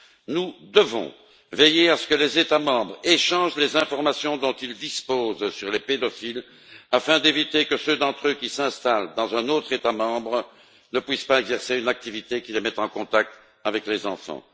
Nous devons veiller à ce que les États membres échangent les informations dont ils disposent sur les pédophiles, afin d'éviter que ceux d'entre eux qui s'installent dans un autre État membre ne puissent exercer une activité qui les mette en contact avec des enfants.